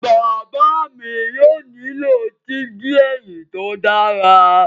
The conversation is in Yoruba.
Baba mi yóò nilo digi ẹhin to dara